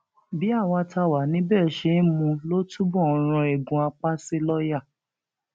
bí àwa tá a wà níbẹ ṣe ń mú un ló túbọ ń rán eegun apá sí lọọyà